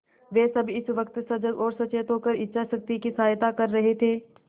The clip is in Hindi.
वे सब इस वक्त सजग और सचेत होकर इच्छाशक्ति की सहायता कर रहे थे